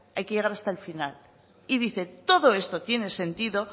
hay que llegar hasta el final y dice todo esto tiene sentido